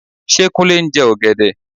Ṣé Kúnlé ń jẹ ọ̀gẹ̀dẹ?